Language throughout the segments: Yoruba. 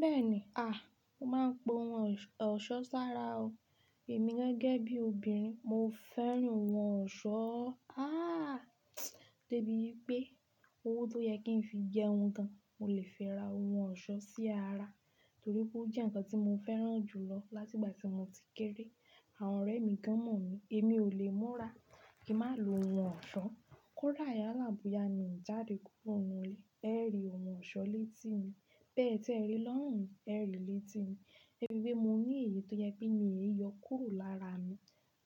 Bẹ́ẹ̀ni, a, mo máa ń po ohun ọ̀ṣọ́ sára o. Èmi gẹ́gẹ́ bí obìnrin, mo fẹ́ràn ohun ọ̀ṣọ́. A, dé bí pé owó tó yẹ kí n fi jẹ ohun kan, mo lè fẹ́ ra ohun ọ̀ṣọ́ sí ara, torí pé ó jẹ́ ǹkan tí mo fẹ́ràn jù lọ láti ìgbà tí mo ti kéré. Àwọn ọ̀rẹ́ mi gan mọ̀ mi, èmi ò lè múra kí má lo ohun ọ̀ṣọ́. Kóra ìyálàbúya ni ìjáde kúrò nínú ilé, ẹ́ ri ohun ọ̀ṣọ́ létí mi. Bẹ́ẹ̀ tí ẹ rí i lọ́run, ẹ́ ri létí mi. Emi wí pé mo ní èyí tó yẹ pé mi yóò kó lára mi,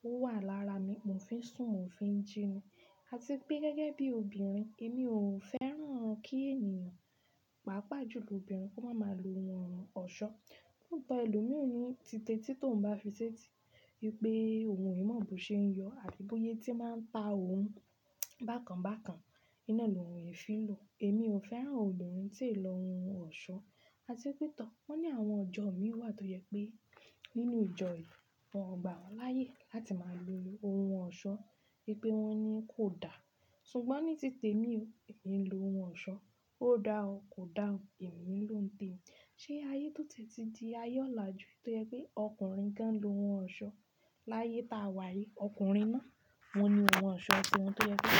ó wà lára mi, mo fi ń sùn, mo fi ń jíni. A ti pé gẹ́gẹ́ bí obìnrin, èmi ò fẹ́ràn kí ènìyàn, pàápàá jùlọ obìnrin, kó máa má lo ohun ọ̀ṣọ́. Nígbà ẹlòmíràn ni títe tí tòun bá fi ṣetí pé ohun yìí má bụ ṣe ń yọ àbí bóyé tí máa ń ta ohun bákan bákan, iná ni òun yìí fi lò. Èmi ò fẹ́ràn obìnrin tí ì lọ ohun ọ̀ṣọ́. A ti pé tọ, wọ́n ní àwọn ọjọ́ mí wà tó yẹ pé nínú ìjọ yìí, wọ́n gba wọ́n láyé láti máa lo ohun ọ̀ṣọ́, pé wọ́n ní kò da. Ṣùgbọ́n ní títẹ mí ò, èmi ń lo ohun ọ̀ṣọ́. Ó da ọ kò da o, èmi lòún tẹ́mi. Ṣé ayé tó ti di ayé ọ̀la ju tí ó yẹ pé ọkùnrin kan lo ohun ọ̀ṣọ́ láyé ta wà yìí? Ọkùnrin náà, wọ́n ni ohun ọ̀ṣọ́ ṣe ohun tó yẹ pé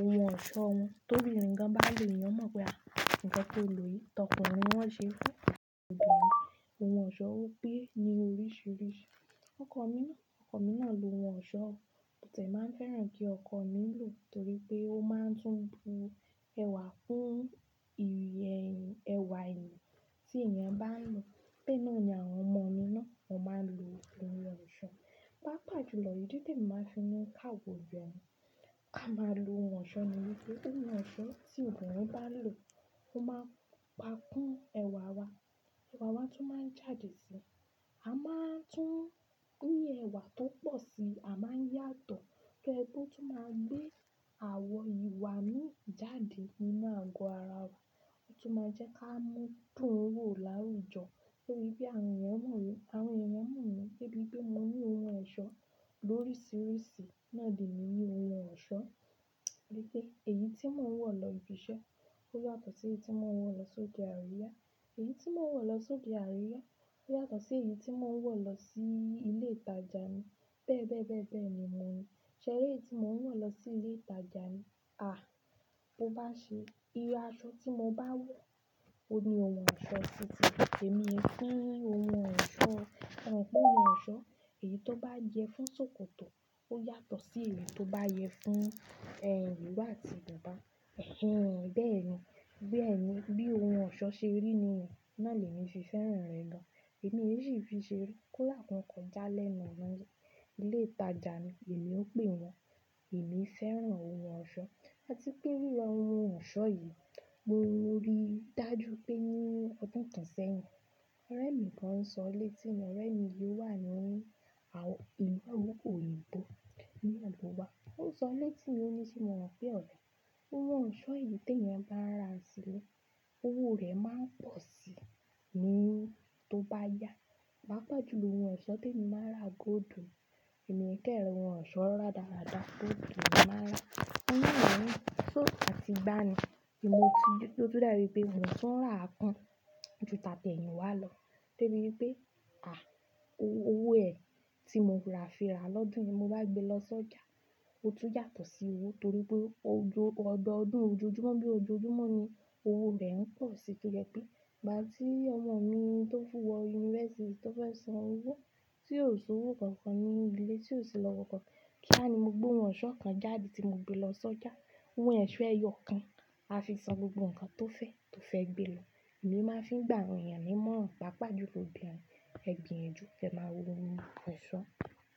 ohun ọ̀ṣọ́ wọn. Tóbi obìnrin kan bá lòó, Eniyan mọ̀ pé a, nǹkan tó lò yìí tọkùnrin náà ṣe fún obìnrin. Ohun ọ̀ṣọ́ ó gbé ní oríṣiríṣi. Ọkọ mi náà, ọkọ mi náà lo ohun ọ̀ṣọ́, tòun lè máa ń fẹ́ràn kí ọkọ mi lò, torí pé ó máa ń tún bu ẹwà kún ẹwà eyan tí èèyàn bá ń lo. Bẹ́ẹ̀ naa ni àwọn ọmọ mi náà, wọ́n máa ń lo ohun ọ̀ṣọ́. Pàápàá jùlọ ìdí tí èmi máa ń fi mú káwa oninrin, ka máa lo ohun ọ̀ṣọ́ nìyẹn. Pé ohun ọ̀ṣọ́ tí obìnrin bá ń lò, ó máa ń pa kún ẹwà wa. Ẹwà wa tún máa ń jáde sí i. A máa ń tún ní ẹwà tó pọ̀ sí i, a máa ń yàtọ̀. Torí pé ó tún máa ń gbé àwọ̀ ìwà mí jáde nínú àgọ́ ara wa, ó tún máa ń jẹ́ ká mú dùn wò láwùjọ. Torí bí àwọn èèyàn mọ̀ mí, àwọn èèyàn mọ̀ mí gẹ́gẹ́ bí mo ní ohun ọ̀ṣọ́ lóríṣiríṣi. Náà dì mí ní ohun ọ̀ṣọ́. Títí èyí tí mò ń wọ̀ lọ ibi iṣẹ́, ó yàtọ̀ sí èyí tí mò ń wọ̀ lọ sóde àríyá. Èyí tí mò ń wọ̀ lọ sóde àríyá ó yàtọ̀ sí èyí tí mò ń wọ̀ lọ sí ilé ìtajà mi. Bẹ́ẹ̀ bẹ́ẹ̀ bẹ́ẹ̀ ni mò ń rí i. Ṣe èyí tí mò ń wọ̀ lọ sí ilé ìtajà mi, a, bó bá ṣe, irú aṣọ tí mo bá wọ̀ ó ní ohun ọ̀ṣọ́ sí i títí. Èmi fún ohun ọ̀ṣọ́, fún ohun ọ̀ṣọ́, èyí tó bá yẹ fún ṣòkòtò ó yàtọ̀ sí èyí tó bá yẹ fún ẹ̀ ìro àti bubá. Ẹ̀hẹ́n bẹ́ẹ̀ ni. Bẹ́ẹ̀ ni, bí ohun ọ̀ṣọ́ ṣe rí ni, náà ni èmi ṣe fẹ́ràn rẹ̀ lọ. Èmi è sì fi ṣe rí. Kó làkún ọkọ̀ já lẹ́nu ọ̀nà ilé ìtajà mi, èmi ó pè wọ́n. Èmi fẹ́ràn ohun ọ̀ṣọ́. A ti pé rí lọ ohun ọ̀ṣọ́ yìí mo rí dájú pé ní ọdún kan sẹ́yìn, ọ̀rẹ́ mi kan ń sọ létí mi. Ọ̀rẹ́ mi yìí wà ní àwù, ìlú òyìnbó ní Àdúgbà. Ó ń sọ létí mi wọ́n ní tí mo rán fẹ́ ọ̀rẹ́, pé ohun ọ̀ṣọ́ èyí tí èèyàn bá ra sílé, owó rẹ̀ máa ń pọ̀ sí i ní tó bá yá. Pàápàá jùlọ ohun ọ̀ṣọ́ tí èmi máa ń ra, gold ni. Èmi kẹ̀rẹ̀ ohun ọ̀ṣọ́ ra dáradára, gold ni mò ńi emi maa n ra. Nígbà mìíràn, tó, àti gbá ni, tí mo ti, tó dàwipe motun òun tún rà kan ju tàtẹ̀yìn wá lọ. Dé bí pé, a, owó ẹ̀ tí mo ra fira lọ́dún ni mo bá gbé lọ sójà, ó tún yàtọ̀ sí owó, torí pé ojo, ọ̀dọọdún ojoojúmọ́ bí ojoojúmọ́ ni owó rẹ̀ ń pọ̀ sí i. Torí pé ìgbà tí ọmọ mi tó fù wọ yunifásítì tó fẹ́ san owó tí yóò san owó kankan ní ilé tí yóò ṣe lọ́wọ́ kankan, kía ni mo gbé ohun ọ̀ṣọ́ kan jáde tí mo gbé lọ sójà. Owó ẹ̀ ṣọ ẹyọ kan, a fi san gbogbo ǹkan tó fẹ́, tó fẹ́ gbé lọ. Èmi máa ń fi gbà awon eyàn ní ìmọ̀ràn. Pàápàá jùlọ òbínrin, ẹ gbinyanju kẹ́ máa wo ohun ọ̀ṣọ́.